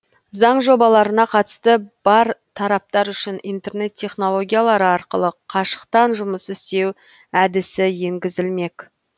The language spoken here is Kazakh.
заң жобаларына қатысы бар тараптар үшін интернет технологиялары арқылы қашықтан жұмыс істеу әдісі енгізілмек